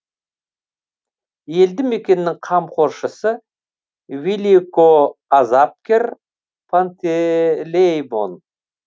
елді мекеннің қамқоршысы великоазапкер пантелеимон